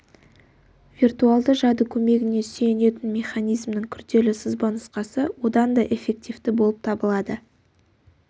виртуалды жады көмегіне сүйенетін механизмнің күрделі сызбанұсқасы одан да эффективті болып табылады